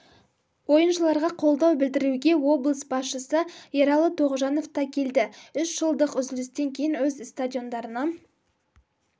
ойыншыларға қолдау білдіруге облыс басшысы ералы тоғжанов та келді үш жылдық үзілістен кейін өз стадиондарына